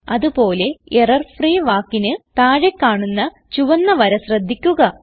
അത് പോലെ എറർഫ്രീ വാക്കിന് താഴെ കാണുന്ന ചുവന്ന വര ശ്രദ്ധിക്കുക